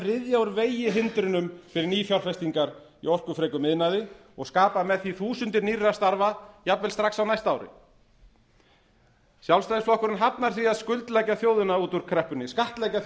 ryðja úr vegi hindrunum fyrir nýfjárfestingar í orkufrekum iðnaði og skapa með því þúsundir nýrra starfa jafnvel strax á næsta ári sjálfstæðisflokkurinn hafnar því að skattleggja þjóðina út úr kreppunni